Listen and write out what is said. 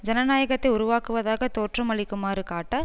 ஜனநாயகத்தை உருவாக்குவதாக தோற்றமளிக்குமாறு காட்ட